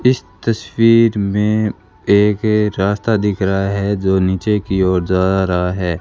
इस तस्वीर में एक रास्ता दिख रहा है जो नीचे की ओर जा रहा है।